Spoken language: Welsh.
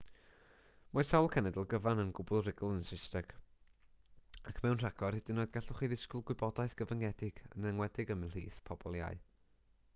mae sawl cenedl gyfan yn gwbl rugl yn saesneg ac mewn rhagor hyd yn oed gallwch chi ddisgwyl gwybodaeth gyfyngedig yn enwedig ymhlith pobl iau